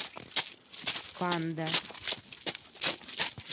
панда